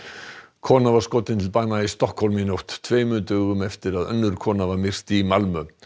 kona var skotin til bana í Stokkhólmi í nótt tveimur dögum eftir að önnur kona var myrt í Malmö